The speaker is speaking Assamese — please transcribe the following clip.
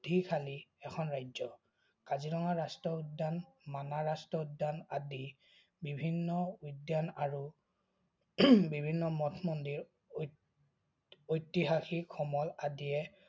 শালি এখন ৰাজ্য। কাজিৰঙা ৰাষ্ট্ৰীয় উদ্যান, মানাহ ৰাষ্ট্ৰীয় উদ্যান, আদি বিভিন্ন উদ্যান আৰু বিভিন্ন মঠ-মন্দিৰ আৰু ঐতিহাসিক সমল আদিয়ে